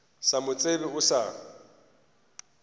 sa mo tsebe o sa